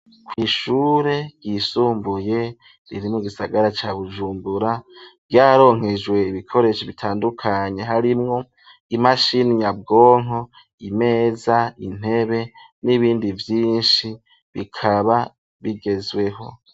kw'ishure ryisumbuye riri mu gisagara ca Bujumbura, ryararonkejwe ibikoresho bitandukanye harimwo imashini nyabwonko, imeza ,intebe n'ibindi vyinshi bikaba bigezweho.